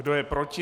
Kdo je proti?